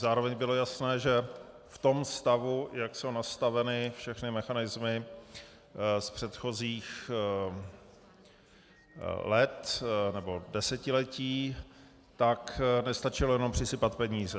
Zároveň bylo jasné, že v tom stavu, jak jsou nastaveny všechny mechanismy z předchozích let nebo desetiletí, tak nestačilo jenom přisypat peníze.